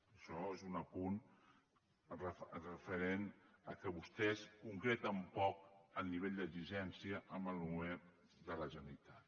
això és un apunt referent al fet que vostès concreten poc el nivell d’exigència al govern de la generalitat